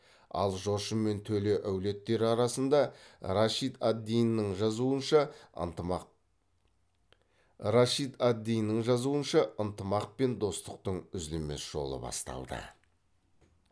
ал жошы мен төле әулеттері арасында рашид ад диннің жазуынша ынтымақ пен достықтың үзілмес жолы басталды